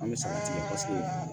An bɛ se ka tigɛ kosɛbɛ